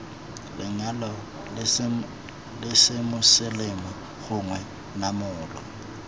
lenyalo la semoseleme gongwe namolo